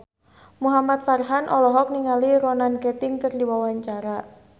Muhamad Farhan olohok ningali Ronan Keating keur diwawancara